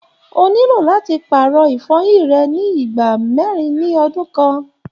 O nílò láti paarọ ifọ́yín rẹ ni ìgbà mẹrin ni ọdun kan.